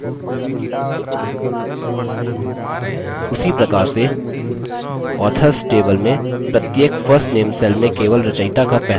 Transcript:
उसी प्रकार से authors table में प्रत्येक first name cell में केवल रचयिता का पहला name होना चाहिए